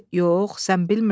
“Yox, sən bilmirsən.